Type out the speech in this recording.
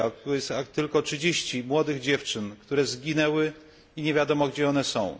zdjęcia jest tu tylko 30 młodych dziewczyn, które zginęły i nie wiadomo, gdzie są.